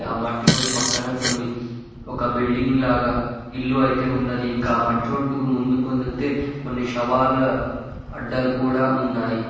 ఆ మట్టి రోడ్డు పక్కన కొన్ని ఒక బిల్డింగ్ లాగా ఇల్లు అయితే ఉన్నది ఇంకా మట్రోడ్డు ముందుకు వెళ్తే కొన్ని శవాలు అడ్డలు కూడా ఉన్నాయి.